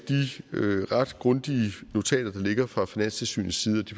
ret grundige notater der ligger fra finanstilsynets side